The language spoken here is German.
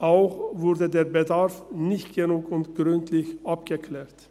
Auch wurde der Bedarf nicht genügend gründlich abgeklärt.